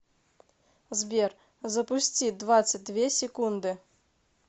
сбер запусти двадцать две секунды